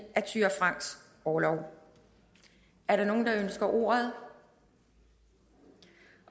af thyra franks orlov er der nogen der ønsker ordet